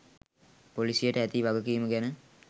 පොලිසියට ඇති වගකීම ගැන